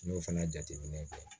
N y'o fana jateminɛ kɛ